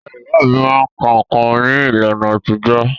Ìyá ìyá mí máa ka nǹkan ní ìlànà àtijọ́.